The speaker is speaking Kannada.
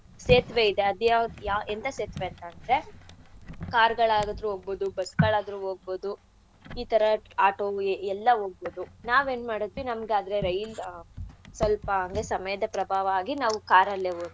ಸೇತ್ವೆ ಇದೆ ಅದ್ ಯಾವ್ ಎಂತ ಸೇತ್ವೆ ಅಂತಂದ್ರೆ car ಗಳಾದ್ರು ಹೋಗ್ಬೋದು bus ಗಳಾದ್ರು ಹೋಗ್ಬೋದು ಈಥರಾ auto ಎಲ್ಲಾ ಹೋಗ್ಬೋದು ನಾವೇನ್ ಮಾಡಿದ್ವಿ ನಮ್ಗ್ ಅದೇ ರೈಲ್ ಸ್ವಲ್ಪ ಅಂದ್ರೆ ಸಮಯದ ಪ್ರಭಾವ ಆಗಿ ನಾವು car ಅಲ್ಲೇ ಹೊಂಟೋದ್ವಿ.